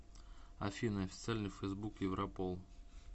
афина официальный фейсбук европол